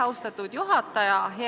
Austatud juhataja!